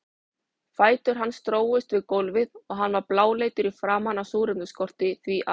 Fætur hans drógust við gólfið og hann var bláleitur í framan af súrefnisskorti, því að